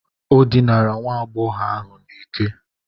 O dinara nwa agbọghọ ahụ n'ike.